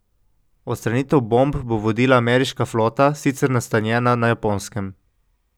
Odstranitev bomb bo vodila ameriška flota, sicer nastanjena na Japonskem.